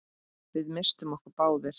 Við misstum okkur báðir.